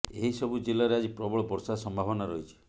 ଏହି ସବୁ ଜିଲ୍ଲାରେ ଆଜି ପ୍ରବଳ ବର୍ଷା ସମ୍ଭାବନା ରହିଛି